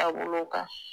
Taabolo kan